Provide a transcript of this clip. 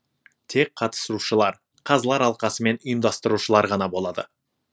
тек қатысуышылар қазылар алқасы мен ұйымдастырушылар ғана болады